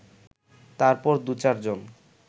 তারপর দু-চার জন